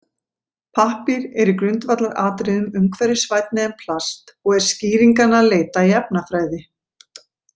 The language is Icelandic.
Pappír er í grundvallaratriðum umhverfisvænni en plast og er skýringanna að leita í efnafræði.